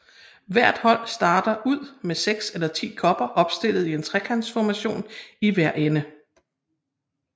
Hvert hold starter ud med 6 eller 10 kopper opstillet i en trekantformation i hver ende